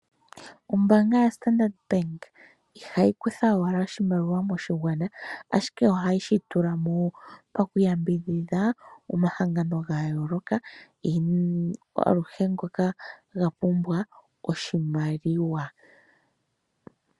Ombaanga yaStandard Bank ihayi kutha owala oshimaliwa moshigwana, ashike ohayi shi tula mo wo paku yambidhidha omahangano ga yooloka aluhe ngoka ga pumbwa oshimaliwa.